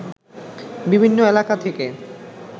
বিভিন্ন এলাকা থেকে